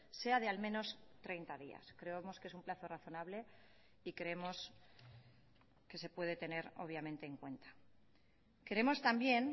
sea de al menos treinta días creemos que es un plazo razonable y creemos que se puede tener obviamente en cuenta queremos también